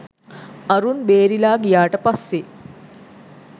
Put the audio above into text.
අරුන් බේරිලා ගියාට පස්සේ